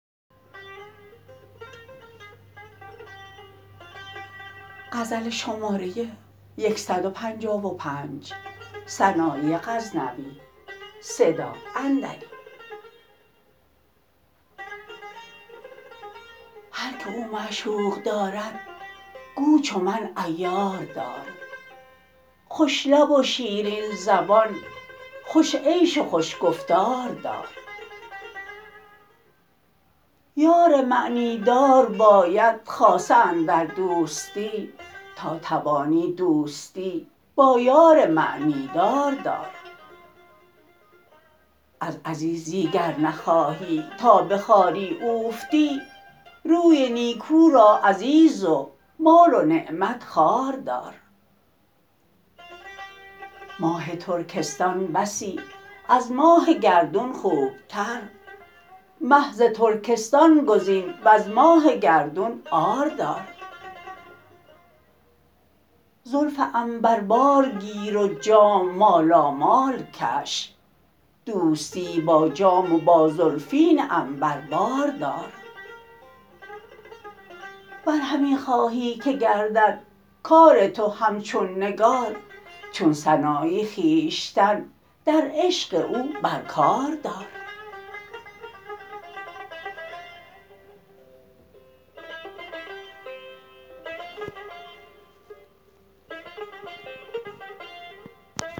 هر که او معشوق دارد گو چو من عیار دار خوش لب و شیرین زبان خوش عیش و خوش گفتار دار یار معنی دار باید خاصه اندر دوستی تا توانی دوستی با یار معنی دار دار از عزیزی گر نخواهی تا به خواری اوفتی روی نیکو را عزیز و مال و نعمت خوار دار ماه ترکستان بسی از ماه گردون خوب تر مه ز ترکستان گزین وز ماه گردون عار دار زلف عنبربار گیر و جام مالامال کش دوستی با جام و با زلفین عنبربار دار ور همی خواهی که گردد کار تو همچون نگار چون سنایی خویشتن در عشق او بر کار دار